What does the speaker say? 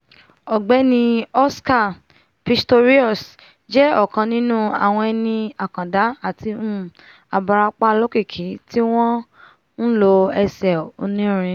ọ̀gbẹ́ni oscar pistorius jẹ́ ọ̀kan nínú nínú àwọn eni àkàndá àti um abarapa olókìkí tí wọ́n um nlo ẹsẹ̀ oní'rin